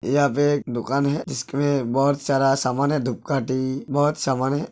यहाँ पे एक दुकान है जिसमें बहोत सारा सामान है। बहोत सामान है।